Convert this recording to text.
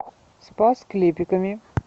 спас клепиками